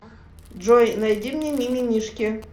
джой найти мне мимимишки